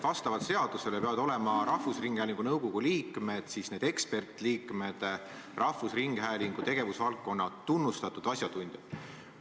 Vastavalt seadusele peavad rahvusringhäälingu nõukogu liikmed, need ekspertliikmed, olema rahvusringhäälingu tegevusvaldkonna tunnustatud asjatundjad.